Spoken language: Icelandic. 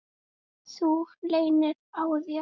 Þú leynir á þér!